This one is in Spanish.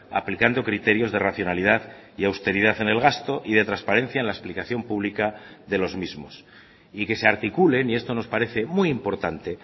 aplicando criterios de racionalidad y austeridad en el gasto y de transparencia en la explicación pública de los mismos y que se articulen y esto nos parece muy importante